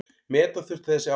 Meta þurfi þessi áhrif.